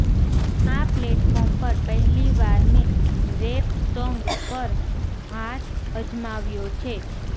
આ પ્લેટફોર્મ પર પહેલીવાર મેં રેપ સોંગ પર હાથ અજમાવ્યો છે